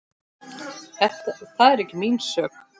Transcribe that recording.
Það er ekki mín sök.